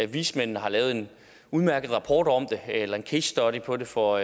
vismændene har lavet en udmærket rapport om det eller en casestudy på det for